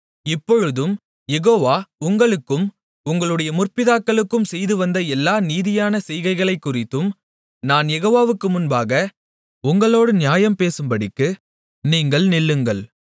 இப்பொழுதும் யெகோவா உங்களுக்கும் உங்களுடைய முற்பிதாக்களுக்கும் செய்துவந்த எல்லா நீதியான செய்கைகளைக்குறித்தும் நான் யெகோவாவுக்கு முன்பாக உங்களோடு நியாயம் பேசும்படிக்கு நீங்கள் நில்லுங்கள்